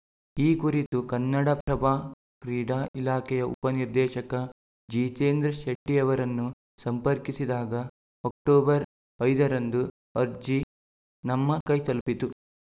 ಈ ಕುರಿತು ಕನ್ನಡಪ್ರಭ ಕ್ರೀಡಾ ಇಲಾಖೆಯ ಉಪ ನಿರ್ದೇಶಕ ಜಿತೇಂದ್ರ ಶೆಟ್ಟಿಅವರನ್ನು ಸಂಪರ್ಕಿಸಿದಾಗ ಅಕ್ಟೋಬರ್ ಐದರಂದು ಅರ್ಜಿ ನಮ್ಮ ಕೈತಲುಪಿತು